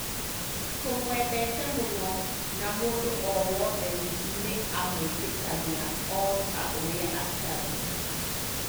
Tũmwendete mũno, na mũndũ o wothe nĩ amwĩtĩkagĩra o ta ũrĩa atariĩ